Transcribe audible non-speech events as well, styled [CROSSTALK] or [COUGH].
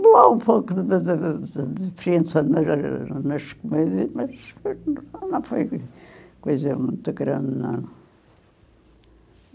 Não, há um pouco [UNINTELLIGIBLE] de diferença na nas [UNINTELLIGIBLE] comidas, mas foi, não foi coisa muito grande, não.